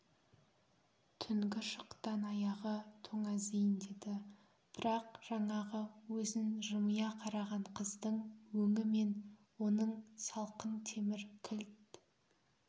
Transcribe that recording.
түнгі шықтан аяғы тоңазиын деді бірақ жаңағы өзін жымия қараған қыздың өңі мен оның салқын темір кілт